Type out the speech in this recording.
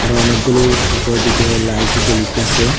এখানে অনেকগুলো উপরের দিকে লাইট জ্বলিতেসে।